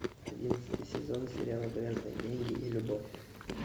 одиннадцатый сезон сериала грязные деньги и любовь